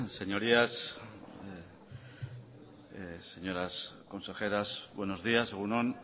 señorías señoras consejeras buenos días egun on